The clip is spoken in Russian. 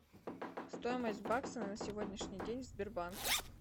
стоимость бакса на сегодняшний день в сбербанке